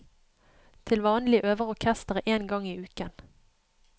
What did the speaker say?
Til vanlig øver orkesteret én gang i uken.